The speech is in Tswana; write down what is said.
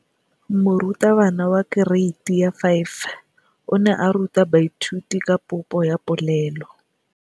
Moratabana wa kereiti ya 5 o ne a ruta baithuti ka popô ya polelô.